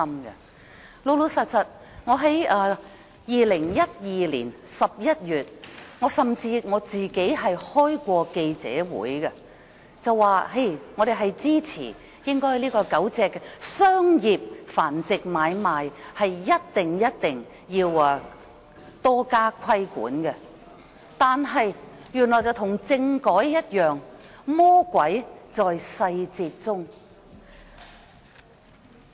事實上，我在2012年11月曾召開記者會，表明我們支持對狗隻商業繁殖買賣實施更嚴厲規管，但情況與政改一樣，魔鬼在細節中。